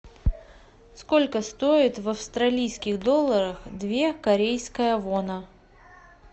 сколько стоит в австралийских долларах две корейская вона